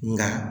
Nka